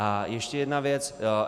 A ještě jedna věc.